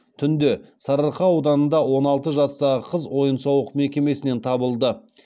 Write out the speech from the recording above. түнде сарыарқа ауданында он алты жастағы қыз ойын сауық мекемесінен табылды